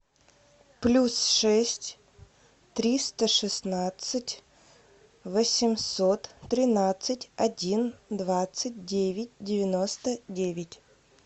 плюс шесть триста шестнадцать восемьсот тринадцать один двадцать девять девяносто девять